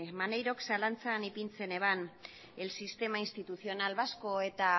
maneirok zalantzan ipintzen zuen el sistema institucional vasco eta